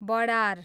बडार